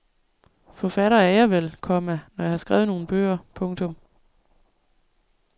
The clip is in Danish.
Forfatter er jeg vel, komma når jeg har skrevet nogle bøger. punktum